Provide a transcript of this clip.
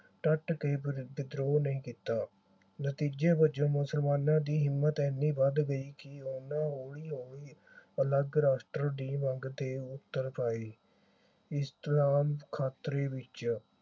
ਡੱਟ ਕੇ ਵਿਦਰੋਹ ਨਹੀਂ ਕੀਤਾ। ਨਤੀਜੇ ਵਜੋਂ ਮੁਸਲਮਾਨਾਂ ਦੀ ਹਿੰਮਤ ਏਨੀ ਵੱਧ ਗਈ ਕਿ ਉਨ੍ਹਾਂ ਹੌਲੀ ਹੌਲੀ ਅਲੱਗ ਰਾਸ਼ਟਰ ਦੀ ਮੰਗ ਤੇ ਉਤਰ ਆਈ। ਇਸ ਦੌਰਾਨ ਖ਼ਤਰੇ ਵਿਚ